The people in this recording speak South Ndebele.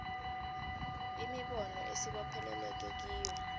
imibono esibopheleleke kiyo